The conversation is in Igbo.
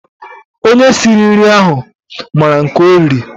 Onye sịrị nri ahụ maara nke o riri